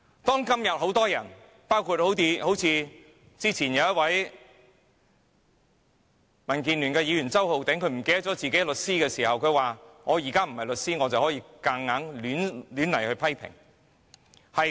當今有很多人包括剛才民建聯的周浩鼎議員，他忘記自己的律師身份說："我現在不是律師，可以任意批評"。